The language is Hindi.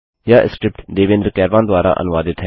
यह स्क्रिप्ट देवेन्द्र कैरवान द्वारा अनुवादित है